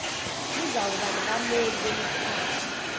luzawuba nabameli bemikhakha